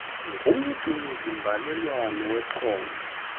ngumgcini zimbalelwano wephondo